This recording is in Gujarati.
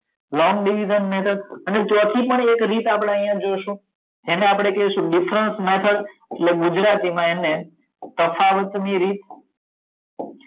લોંગ ડિવિજન ની અંદર પેલું ચોથું પણ એક રીત આપડે જોઇસુ જેને આપડે કાઈસુ ડિફરન્સ મેથડ એટલે ગુજરાતી માં એને તફાવત ની રીત